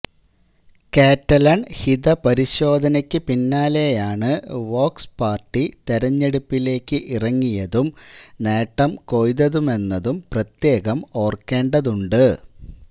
Catalan ഹിതപരിശോധനയ്ക്കു പിന്നാലെയാണ് Vox party തെരഞ്ഞെടുപ്പിലേക്ക് ഇറങ്ങിയതും നേട്ടം കൊയ്തതുമെന്നതും പ്രത്യേകം ഓർക്കേണ്ടതുണ്ട്